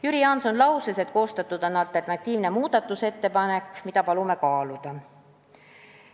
Jüri Jaanson lausus, et koostatud on alternatiivne muudatusettepanek, mida palume kaaluda.